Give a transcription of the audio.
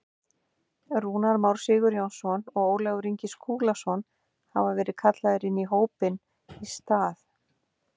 Rúnar Már Sigurjónsson og Ólafur Ingi Skúlason hafa verið kallaðir inn í hópinn í stað.